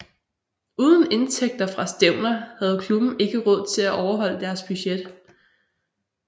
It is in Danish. Uden indtægter fra stævner havde klubben ikke råd til at overholde deres budget